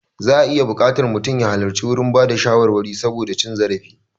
Za'a iya buƙatar mutum ya halarci gurin bada shawarwari saboda cin zarafi.